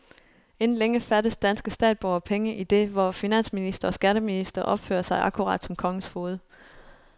Inden længe fattes danske statsborgere penge, idet vor finansminister og skatteminister opfører sig akkurat som kongens foged.